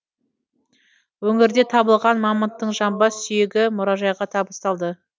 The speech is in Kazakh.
өңірде табылған мамонттың жамбас сүйегі мұражайға табысталды